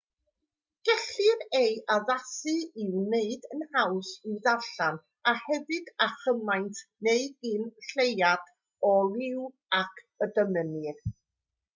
gellir ei addasu i'w wneud yn haws i'w ddarllen a hefyd â chymaint neu gyn lleied o liw ag y dymunir